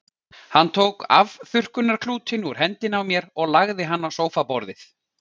Hann tók afþurrkunarklútinn úr hendinni á mér og lagði hann á sófaborðið.